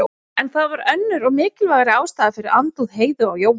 En það var önnur og mikilvægari ástæða fyrir andúð Heiðu á Jóa.